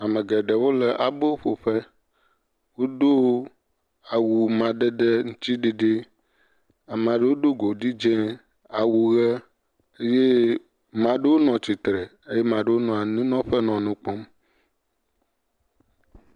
Ame geɖewo le abo ƒoƒe. wodo awu amadede ŋtsiɖiɖi, ame aɖewo do godi dzi, awu ʋe eye ame aɖewo nɔ atsitre eye ame aɖewo nɔ anyinɔƒe nɔ nu kpɔm.